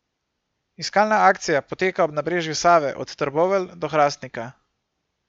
Iskalna akcija poteka ob nabrežju Save od Trbovelj do Hrastnika.